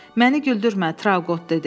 Məni güldürmə, Trauqot dedi.